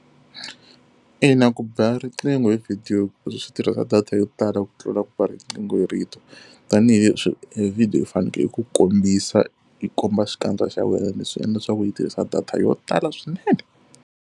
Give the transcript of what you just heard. Ina ku ba riqingho hi video swi tirhisa data yo tala ku tlula ku ba riqingho hi rito. Tanihi leswi vhidiyo fanekele yi ku kombisa, yi komba xikandza xa wena, leswi endla leswaku yi tirhisa data yo tala swinene.